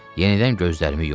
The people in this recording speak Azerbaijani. Yenidən gözlərimi yumdum.